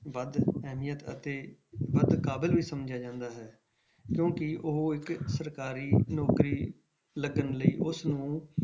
ਵੱਧ ਅਹਿਮੀਅਤ ਅਤੇ ਵੱਧ ਕਾਬਲ ਵੀ ਸਮਝਿਆ ਜਾਂਦਾ ਹੈ ਕਿਉਂਕਿ ਉਹ ਇੱਕ ਸਰਕਾਰੀ ਨੌਕਰੀ ਲੱਗਣ ਲਈ ਉਸਨੂੰ,